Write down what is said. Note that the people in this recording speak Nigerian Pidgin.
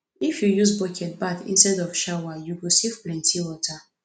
if you use bucket bath instead of shower you go save plenty water